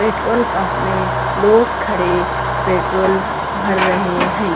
Petrol pump में लोग खड़े पेट्रोल भर रहे हैं।